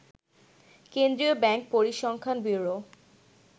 কেন্দ্রীয় ব্যাংক, পরিসংখ্যান ব্যুরো